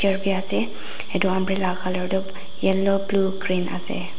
bi ase edu umbrella colour tu yellow blue green ase.